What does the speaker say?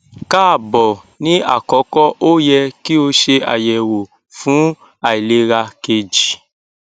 kaabo ni akọkọ o yẹ ki o ṣe ayẹwo fun ailera keji